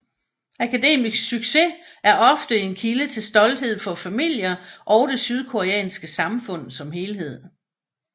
Akademisk succes er ofte en kilde til stolthed for familier og i det sydkoreanske samfund som helhed